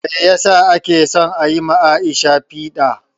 Meyasa ake son ayi ma Aisha piɗa?